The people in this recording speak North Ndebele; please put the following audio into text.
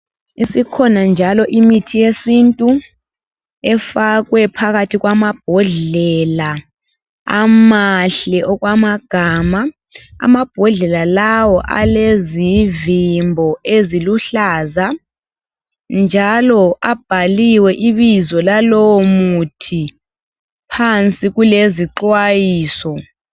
Isikhona njalo imithi yesintu efakwe phakathi kwamabhodlela amahle okwamagama amabhodlela lawa alezivimbo eziluhlaza njalo abhaliwe ibizo lalowo muthi phansi kulezi xwayiso.